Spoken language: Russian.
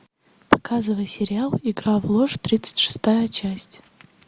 показывай сериал игра в ложь тридцать шестая часть